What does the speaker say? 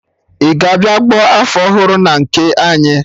Ị ga-abịa gba afọ ọhụrụ a na nke anyị?